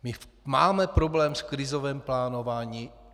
My máme problém s krizovým plánováním.